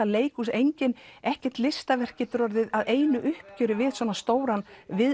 leikhús ekkert listaverk getur orðið að einu uppgjöri við svona stóran